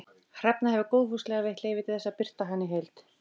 Hrefna hefur góðfúslega veitt leyfi til þess að birta hana í heild